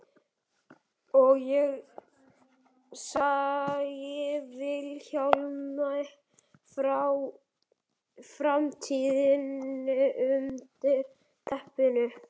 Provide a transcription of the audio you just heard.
Og ég segi Vilhjálmi frá framtíðinni undir teppinu.